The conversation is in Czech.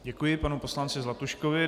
Děkuji panu poslanci Zlatuškovi.